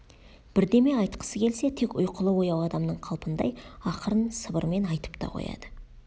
бірдеме айтқысы келсе тек ұйқылы-ояу адамның қалпындай ақырын сыбырмен айтып та қояды